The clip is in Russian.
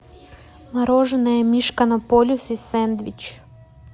мороженое мишка на полюсе сэндвич